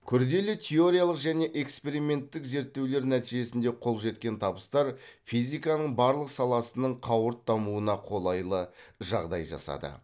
күрделі теориялық және эксперименттік зерттеулер нәтижесінде қол жеткен табыстар физиканың барлық саласының қауырт дамуына қолайлы жағдай жасады